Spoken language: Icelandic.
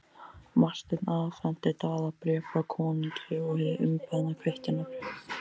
Marteinn afhenti Daða bréf frá konungi og hið umbeðna kvittunarbréf.